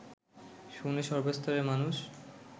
শুনে সর্বস্তরের মানুষ